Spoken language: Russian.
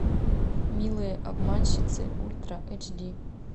милые обманщицы ультра эйч ди